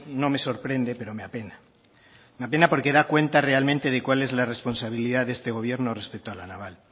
no me sorprende pero me apena me apena porque da cuenta realmente de cuál es la responsabilidad de este gobierno respecto a la naval